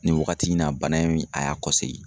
Nin wagati in na bana in a y'a kɔsegin.